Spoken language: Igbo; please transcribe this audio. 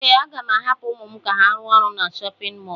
Ee, aga m ahapụ ụmụ m ka ha rụọ ọrụ na chọpịn mọọlụ.